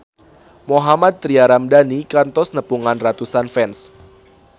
Mohammad Tria Ramadhani kantos nepungan ratusan fans